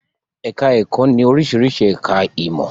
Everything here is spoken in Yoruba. Ẹ̀ká ẹ̀kọ́ ní oríṣiríṣi ẹ̀ká ìmọ̀